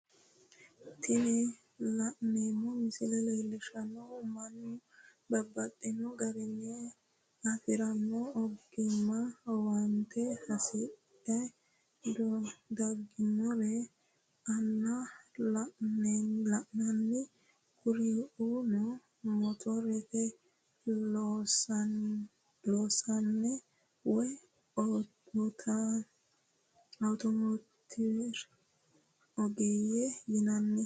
Tini la'neemo misile leellishanohu mannu babaxxino garinni afirinno oggimma owantte hasidhe daginorirra aana lananni, kuriunno motorete loosasinne woyi outomotiwete oggeeye yinanni